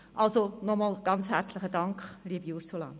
Also, nochmals ganz herzlichen Dank, liebe Ursula Zybach.